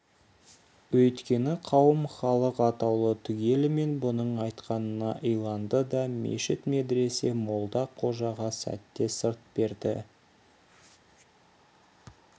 өйткені қауым халық атаулы түгелімен бұның айтқанына иланды да мешіт медресе молда-қожаға сәтте сырт берді